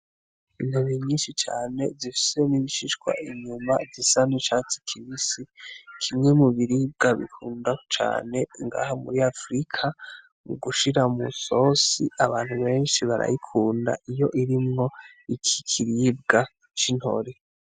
Intore nyinshi cane zifise n'ibishishwa inyuma bisa n'icatsi kibisi, kimwe mu biribwa bikundwa cane ngaha muri afrika, mu gushira mw'isose abantu benshi barayikunda iyo birimwo iki kiribwa c'intore.